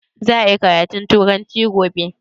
Za a yi karatun turanci gobe?